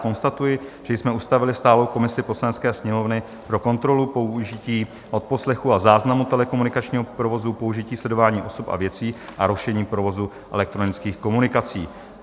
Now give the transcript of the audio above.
Konstatuji, že jsme ustavili stálou komisi Poslanecké sněmovny pro kontrolu použití odposlechu a záznamu telekomunikačního provozu, použití sledování osob a věcí a rušení provozu elektronických komunikací.